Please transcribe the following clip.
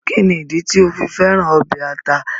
Kíni ìdí tì o fi fẹ̀ràn obẹ̀ àtà?